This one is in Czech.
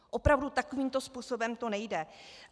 Opravdu, takovýmto způsobem to nejde.